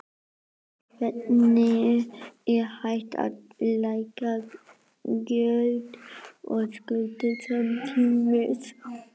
En hvernig er hægt að lækka gjöld og skuldir samtímis?